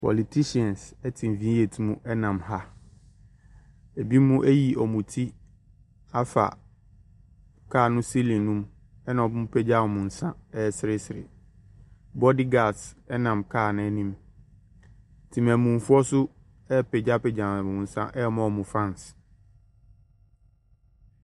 Politihyians ɛte V8 mu ɛnam ha. Ebinom ayi wɔnmmo ti afa kaa no siilin no mu, ɛna wɔnmmo apagya wɔn nsa ɛseresere. Bodigads ɛnam kaa no anim. Temanmufoɔ nso apagyapagya wɔn nsa ɛma wɔnmmo fansi.